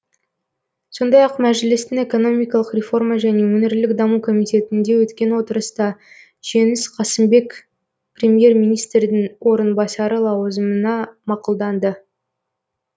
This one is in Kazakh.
сондай ақ мәжілістің экономикалық реформа және өңірлік даму комитетінде өткен отырыста жеңіс қасымбек премьер министрдің орынбасары лауазымына мақұлданды